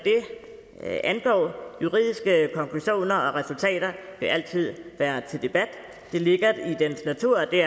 det angår juridiske konklusioner og resultater vil altid være til debat det ligger i sagens natur og det